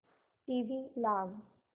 TV लाव